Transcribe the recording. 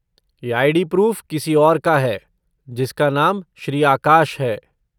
यह ID. Proof किसी और का है, जिसका नाम श्री आकाश है।